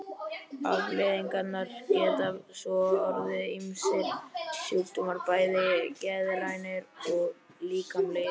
Afleiðingarnar geta svo orðið ýmsir sjúkdómar, bæði geðrænir og líkamlegir.